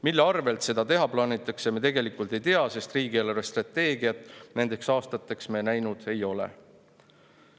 Mille arvelt seda kõike teha plaanitakse, me tegelikult ei tea, sest riigi eelarvestrateegiat nendeks aastateks me näinud ei ole.